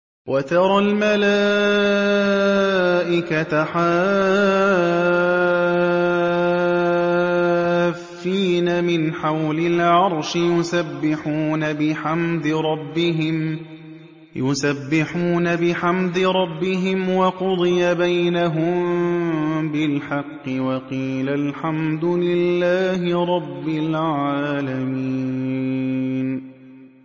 وَتَرَى الْمَلَائِكَةَ حَافِّينَ مِنْ حَوْلِ الْعَرْشِ يُسَبِّحُونَ بِحَمْدِ رَبِّهِمْ ۖ وَقُضِيَ بَيْنَهُم بِالْحَقِّ وَقِيلَ الْحَمْدُ لِلَّهِ رَبِّ الْعَالَمِينَ